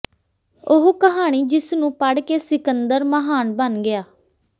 ਉਹ ਕਹਾਣੀ ਜਿਸ ਨੂੰ ਪੜ੍ਹ ਕੇ ਸਿਕੰਦਰ ਮਹਾਨ ਬਣ ਗਿਆ